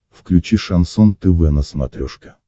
включи шансон тв на смотрешке